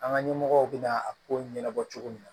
An ka ɲɛmɔgɔw bɛna a ko ɲɛnabɔ cogo min na